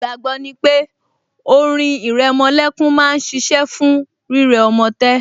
Ìgbàgbọ́ ni pé orin ìrẹmolẹ́kún máa ṣiṣẹ́ fún rírẹ ọmọ tẹ́